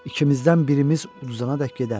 İkimizdən birimiz uduzana dək gedərdim.